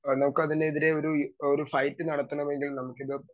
speaker 2 നമുക്ക് അതിനെതിരെ ഒരു ഒരു ഫൈറ്റ് നടത്താണമെങ്കിൽ നമുക്കിത്